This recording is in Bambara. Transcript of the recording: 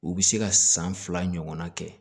U bɛ se ka san fila ɲɔgɔnna kɛ